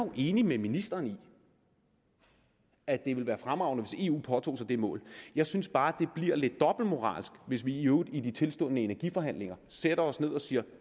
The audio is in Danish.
jo enig med ministeren i at det vil være fremragende hvis eu påtog sig det mål jeg synes bare det bliver lidt dobbeltmoralsk hvis vi i øvrigt i de tilstundende energiforhandlinger sætter os ned og siger